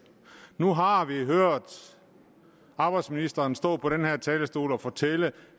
nu har vi hørt arbejdsministeren stå på den her talerstol og fortælle